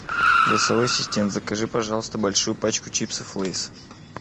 голосовой ассистент закажи пожалуйста большую пачку чипсов лейс